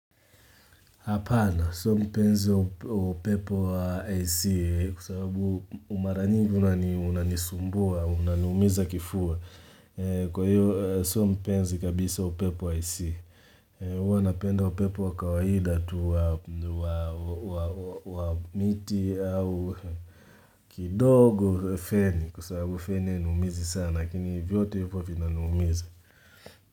Hapana, sio mpenzi wa upepo wa AC kwa sababu mara nyingi unanisumbua, unaniumiza kifua. Kwa hiyo, sio mpenzi kabisa upepo wa AC. Huwa napenda upepo wa kawaida tu wa miti au kidogo feni kwa sababu feni hainiumizi sana, lakini vyote hivyo vinaniumiza.